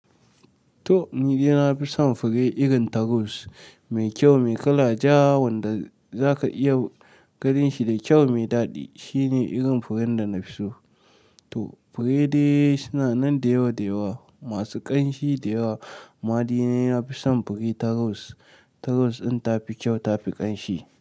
To! Ni dai na fi son fure irin taros mai kyau, mai kala ja wanda zaka iya ganin shi da kyau mai daɗi. Shine irin furen da na fi so. To fure dai suna nan da yawa da yawa, masu ƙanshi da yawa. Amma ni dai na fi son fure ta ros. Ta ros ɗin tafi kyau, ta fi ƙanshi.